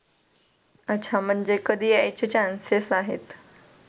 अच्छा म्हणजे कधी यायचे Chances आहेत.